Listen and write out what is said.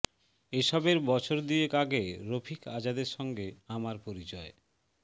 এসবের বছর দুয়েক আগে রফিক আজাদের সঙ্গে আমার পরিচয়